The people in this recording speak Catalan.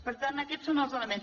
per tant aquests són els elements